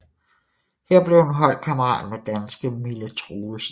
Her blev hun holdkammerat med danske Mille Troelsen